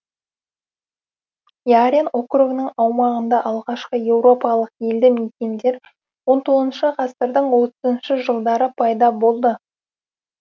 ярен округының аумағында алғашқы еуропалық елді мекендер он тоғызыншы ғасырдың отызыншы жылдары пайда болды